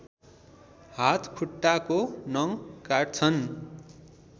हात खुट्टाको नङ काट्छन्